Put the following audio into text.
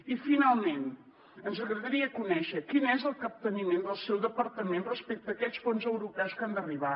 i finalment ens agradaria conèixer quin és el capteniment del seu departament respecte a aquests fons europeus que han d’arribar